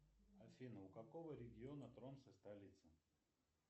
афина у какого региона тромса столица